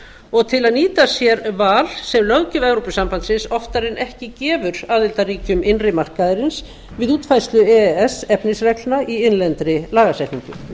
og til að nýta sér val sem löggjöf evrópusambandsins oftar en ekki gefur aðildarríkjum innri markaðarins við útfærslu e e s efnisreglna í innlendri lagasetningu